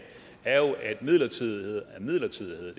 er jo at midlertidighed er midlertidighed